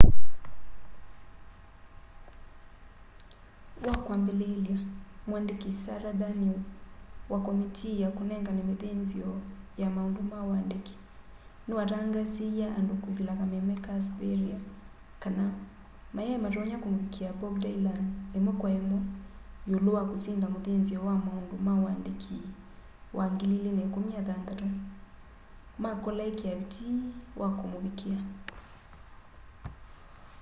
wakwambĩlĩlya mwandĩkĩ sara danius wa komitii ya kunengana mithinzio ya maundu ma uandiki nĩwatangaasiie andũ kwĩsĩla kameme ka sveriges kana mayaĩ matonya kũmũvikĩa bob dylan imwe kwa imwe yĩũlũ wa kũsinda mũthĩnzĩo wa maundu ma uandiki wa 2016 makola ikia vitii wa kũmũvikia